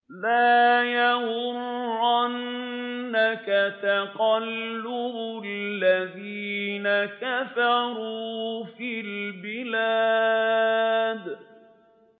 لَا يَغُرَّنَّكَ تَقَلُّبُ الَّذِينَ كَفَرُوا فِي الْبِلَادِ